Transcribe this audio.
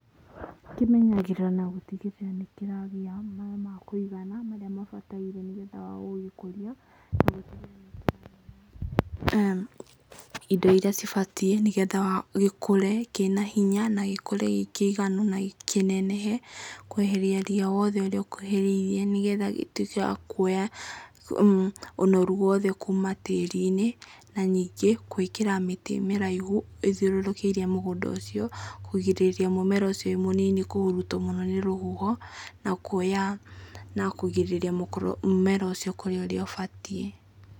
Kĩmenyagĩrĩrwo na gũtigĩrĩra nĩ kĩragĩa maaĩ makũigana, marĩa mabataire nĩgetha wa gũgĩkũrĩa. Indo iria cibatiĩ nĩgetha gĩkũre kĩna hinya, na gĩkũre gĩkĩiganu, na kĩnenehe kweheria ria wothe ũrĩa ũkuhĩrĩirie nĩgetha gĩtuĩke wa kuoya ũnoru wothe kuma tĩri-inĩ. Na ningĩ, gũĩkĩra mĩtĩ mĩraihu ĩthiũrũrũkĩirie mũgũnda ũcio, kũgirĩrĩria mũmera ũcio wĩmũnini kũhũrutwo nĩ rũhuho, na kũgirĩrĩria gũkũra na mũmera ũcio ũkũre ũrĩa ũbatiĩ.